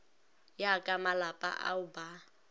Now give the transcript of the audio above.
ya ka malapa ao ba